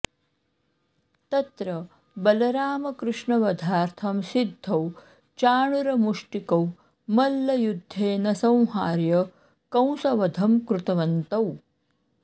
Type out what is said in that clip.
तत्र बलरामकृष्णवधार्थं सिद्धौ चाणूरमुष्टिकौ मल्लयुद्धेन संहार्य कंसवधं कृतवन्तौ